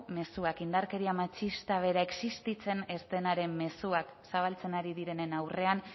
mezuak indarkeria matxista bera existitzen ez denaren mezuak zabaltzen ari direnen aurrean